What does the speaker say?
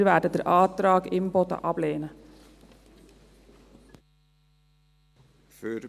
Wir werden den Antrag Imboden ablehnen.